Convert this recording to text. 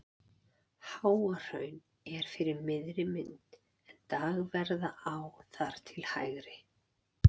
Háahraun er fyrir miðri mynd en Dagverðará þar til hægri.